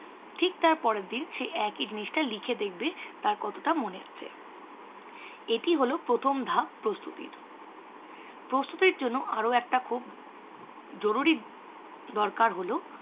Thick তার পরের দিন একই জিনিসটা লিখে দেখবে তার কতটা মনে আছে। এটি হল প্রথম ধাপ প্রস্তুতির। প্রস্তুতির জন্য আরও একটা খুব জরুরি দরকার হল